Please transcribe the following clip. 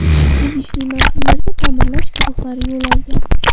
Tegishli manzillarga ta’mirlash guruhlari yo‘l olgan.